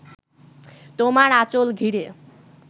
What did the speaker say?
তোমার আঁচল ঘিরে